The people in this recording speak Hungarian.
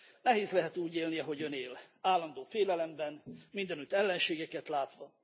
Nehéz lehet úgy élni, ahogy Ön él állandó félelemben, mindenütt ellenségeket látva.